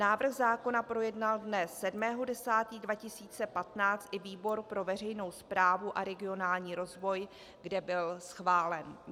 Návrh zákona projednal dne 7. 10. 2015 i výbor pro veřejnou správu a regionální rozvoj, kde byl schválen.